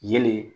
Yelen